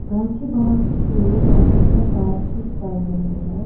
घर के बाहर कुछ लोग आपस में बातचीत कर रहे हैं।